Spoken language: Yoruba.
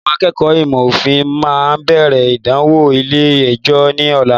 Àwọn akẹ́kọ̀ọ́ ìmọ̀ òfin máa bẹ̀rẹ̀ ìdánwò ilé ẹjọ́ ní ọ̀la.